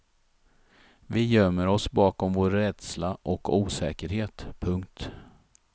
Vi gömmer oss bakom vår rädsla och osäkerhet. punkt